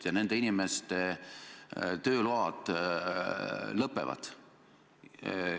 Ja nende inimeste tööload lõpevad.